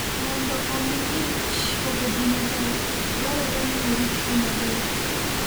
Mondo omi ich obedl maber, dwarore ni oritgi maber.